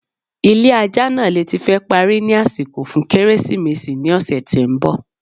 ilé ajá naa le ti fẹ́ parí ni àsìkò fun kérésìmésì ni ọ̀sè tí ń bọ̀.